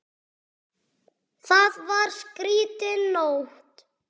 Það var skrýtin nótt.